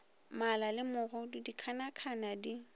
mala le megodu dikhanakhana di